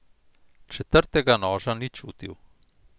Četrtega noža ni čutil.